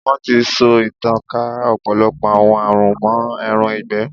Wọ́n ti so ìtànká ọ̀pọ̀lọpọ̀ àwọn àrùn mọ́ ẹran ìgbẹ́.